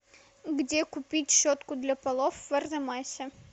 где купить щетку для полов в арзамасе